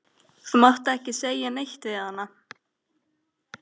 Þú mátt ekki segja neitt við hana.